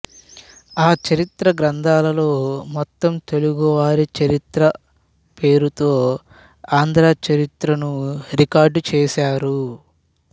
ఆ చరిత్ర గ్రంథాల్లో మొత్తం తెలుగువారి చరిత్ర పేరుతో ఆంధ్రచరిత్రను రికార్డు చేశారు